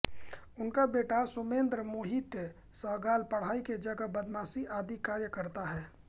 उसका बेटा सोमेन्द्र मोहित सहगल पढ़ाई के जगह बदमाशी आदि कार्य करता है